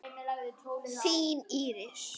Þín, Íris.